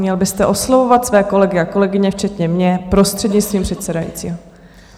Měl byste oslovovat své kolegy a kolegyně, včetně mě, prostřednictvím předsedajícího.